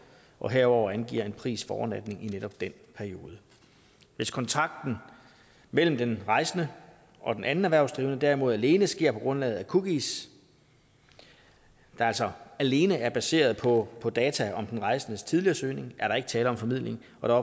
og herudover angiver en pris for overnatning i netop den periode hvis kontakten mellem den rejsende og den anden erhvervsdrivende derimod alene sker på grundlag af cookies og altså alene er baseret på på data om den rejsendes tidligere søgning er der ikke tale om formidling og